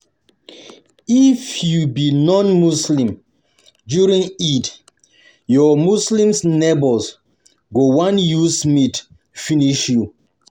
If you be non-Muslim, during Eid, your muslims neighbours go wan use meat finish you.